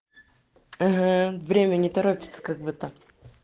ага время не торопиться как бы так